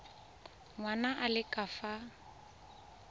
ngwana a le ka fa